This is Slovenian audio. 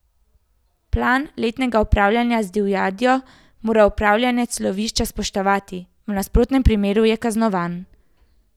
Plan letnega upravljanja z divjadjo mora upravljavec lovišča spoštovati, v nasprotnem primeru je kaznovan.